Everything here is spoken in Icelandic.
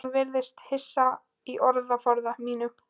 Hún virðist hissa á orðaforða mínum.